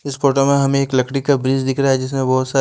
इस फोटो में हमें एक लकड़ी का ब्रिज दिख रहा है जिसमें बहुत सा--